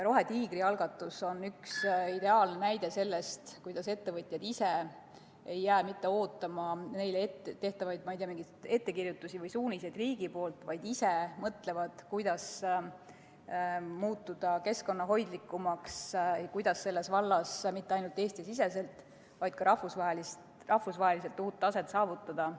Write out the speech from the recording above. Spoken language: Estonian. Rohetiigri algatus on üks ideaalne näide sellest, kuidas ettevõtjad ei jää mitte ootama neile tehtavaid, ma ei tea, mingeid ettekirjutusi või suuniseid riigi poolt, vaid ise mõtlevad, kuidas muutuda keskkonnahoidlikumaks, kuidas selles vallas mitte ainult Eesti-siseselt, vaid ka rahvusvaheliselt uut taset saavutada.